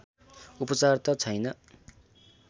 उपचार त छैन